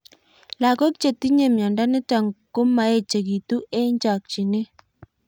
Lag'ok che tinye miondo nitok ko maechekitu eng' chakchinet